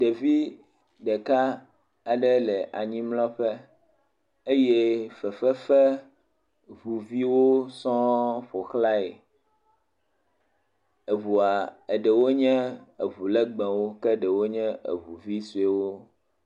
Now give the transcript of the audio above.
Ɖevi ɖeka aɖe le anyimlɔƒe eye eŋu vi sɔewo sɔŋ ƒo xlae. Eŋua, ɖewo nye eŋu legbewo, ke ɖewo nye eŋu vi sɔewo.